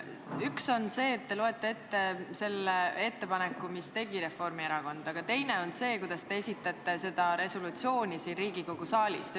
Üks asi on see, et te lugesite ette selle ettepaneku, mille tegi Reformierakond, aga teine asi on see, kuidas te seda siin Riigikogu saalis esitasite.